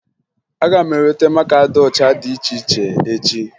Aga m eweta maka ụcha dị iche iche echi